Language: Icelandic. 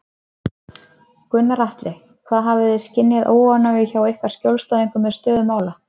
Gunnar Atli: Hafið þið skynjað óánægju hjá ykkar skjólstæðingum með stöðu mála?